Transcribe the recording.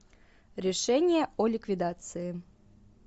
решение о ликвидации